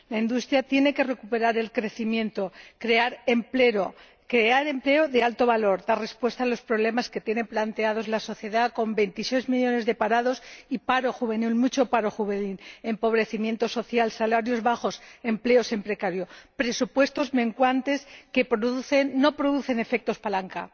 La industria tiene que recuperar el crecimiento, crear empleo de alto valor, dar respuesta a los problemas que tiene planteados la sociedad con 26 millones de parados y paro juvenil, mucho paro juvenil, empobrecimiento social, salarios bajos, empleos precarios, presupuestos menguantes que no producen efectos palanca.